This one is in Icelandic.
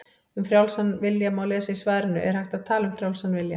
Um frjálsan vilja má lesa í svarinu Er hægt að tala um frjálsan vilja?